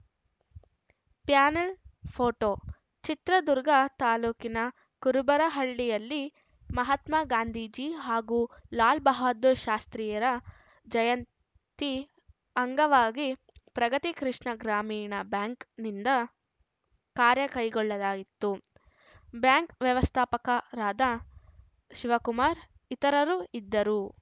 panel photo Chitradurga ತಾಲುಕಿನ ಕುರುಬರಹಳ್ಳಿಯಲ್ಲಿ ಮಹಾತ್ಮ ಗಾಂಧೀಜಿ ಹಾಗೂ ಲಾಲ್‌ ಬಹದ್ಧೂರ್‌ ಶಾಸ್ತ್ರೀಯರ ಜಯಂತಿ ಅಂಗವಾಗಿ ಪ್ರಗತಿ ಕೃಷ್ಣಾ ಗ್ರಾಮೀಣ ಬ್ಯಾಂಕ್‌ನಿಂದ ಕಾರ್ಯ ಕೈಗೊಳ್ಳಲಾಯಿತು ಬ್ಯಾಂಕ್‌ ವ್ಯವಸ್ಥಾಪಕರಾದ ಶಿವಕುಮಾರ್‌ ಇತರರು ಇದ್ದರು